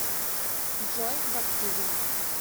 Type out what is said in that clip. джой баптизм